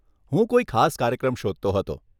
હું કોઈ ખાસ કાર્યક્રમ શોધતો હતો.